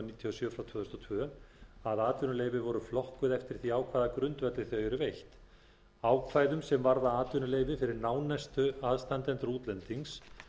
sjö tvö þúsund og tvö að atvinnuleyfi voru flokkuð eftir því á hvaða grundvelli þau eru veitt ákvæðum sem varða atvinnuleyfi fyrir nánustu aðstandendur útlendings